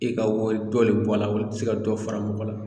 E ka wari dɔ le bɔ a la olu te se ka dɔ fara mɔgɔ la